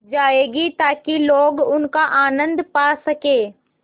जाएगी ताकि लोग उनका आनन्द पा सकें